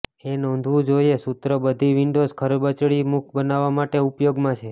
એ નોંધવું જોઇએ સૂત્ર બધી વિંડોઝ ખરબચડી મુખ બનાવવા માટે ઉપયોગમાં છે